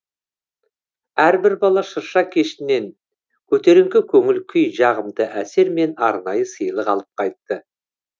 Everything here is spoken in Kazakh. әрбір бала шырша кешінен көтеріңкі көңіл күй жағымды әсер мен арнайы сыйлық алып қайтты